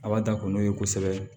A b'a ta ko n'o ye kosɛbɛ